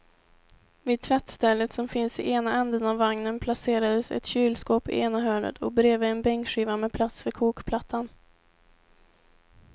Vid tvättstället som finns i ena ändan av vagnen placerades ett kylskåp i ena hörnet och bredvid en bänkskiva med plats för kokplattan.